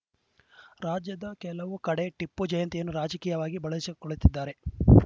ರಾಜ್ಯದ ಕೆಲವು ಕಡೆ ಟಿಪ್ಪು ಜಯಂತಿಯನ್ನು ರಾಜಕೀಯವಾಗಿ ಬಳಸಿಕೊಳ್ಳುತ್ತಿದ್ದಾರೆ